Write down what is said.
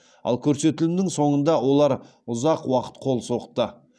ал көрсетілімнің соңында олар ұзақ уақыт қол соқты